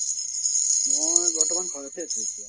মই বৰ্তমান ঘৰতেই আছো এতিয়া।